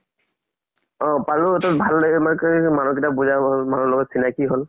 অ পালো। ভাল মানুহ কেইটা চিনাকি হল